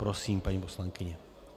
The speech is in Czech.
Prosím, paní poslankyně.